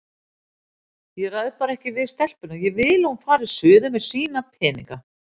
Ég ræð bara ekkert við stelpuna, ég vil að hún fari suður með sína peninga